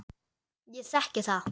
Ég þekki það.